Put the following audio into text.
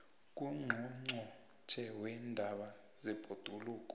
ngungqongqotjhe weendaba zebhoduluko